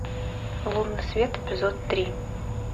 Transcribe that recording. лунный свет эпизод три